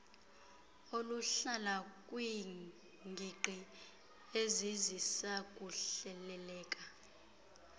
oluhlala kwiingingqi ezazisakuhleleleka